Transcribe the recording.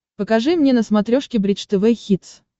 покажи мне на смотрешке бридж тв хитс